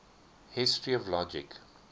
history of logic